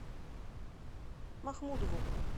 махмудову